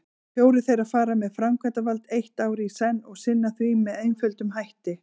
Fjórir þeirra fara með framkvæmdavald eitt ár í senn og sinna því með einföldum hætti.